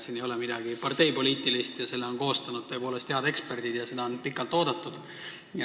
Siin ei ole midagi parteipoliitilist, selle on koostanud tõepoolest head eksperdid ja seda on pikalt oodatud.